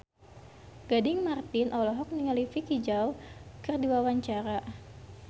Gading Marten olohok ningali Vicki Zao keur diwawancara